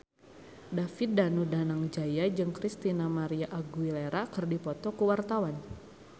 David Danu Danangjaya jeung Christina María Aguilera keur dipoto ku wartawan